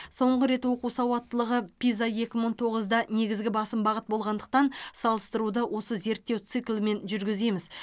соңғы рет оқу сауаттылығы пиза екі мың тоғызда негізгі басым бағыт болғандықтан салыстыруды осы зерттеу циклімен жүргіземіз